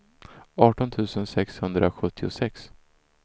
arton tusen sexhundrasjuttiosex